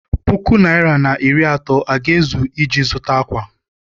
Puku naịra na iri atọ aga-ezu iji zụta ákwà?